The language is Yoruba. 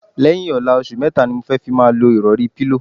Lẹ̩́yìn ò̩la, os̩ù mé̩ta ni mo fé̩ fi máa lo ìrò̩rí/pílò.